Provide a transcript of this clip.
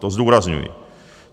To zdůrazňuji.